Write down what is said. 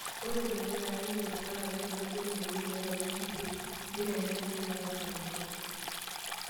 Ore tenkae kata neikesi kat are tenebulu mbenek tiatwa wikii isiet, neitayuni nkiek naatasapukita.